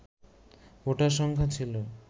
voter সংখ্যা ছিল